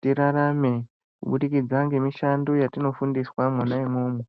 tirarame kubudikidza ngemishando yatinofundiswa mwona umwomwo.